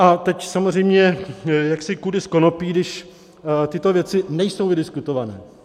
A teď samozřejmě jaksi kudy z konopí, když tyto věci nejsou vydiskutované.